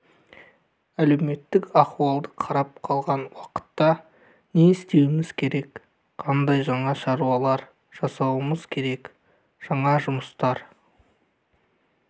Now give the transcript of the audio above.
әлеуметтік ахуалды қарап қалған уақытта не істеуіміз керек қандай жаңа шаруалар жасауымыз керек жаңа жұмыстар